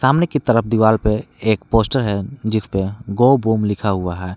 सामने की तरफ दीवार पे एक पोस्टर है। जिस पे गो बूम लिखा हुआ है।